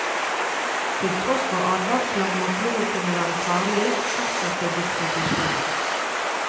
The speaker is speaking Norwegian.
Til tross for advarsler om at blodet kunne være farlig, fortsatte distribusjonen.